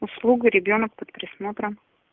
услуга ребёнок под присмотром